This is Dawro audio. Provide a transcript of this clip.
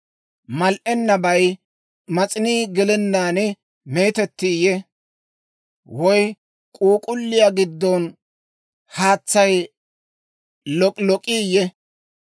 Mal"ennabay mas'inii gelennaan meetettiiyye? Woy k'uuk'k'ulliyaa giddo haatsay lok'ilok'iyye?